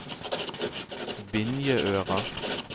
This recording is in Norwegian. Vinjeøra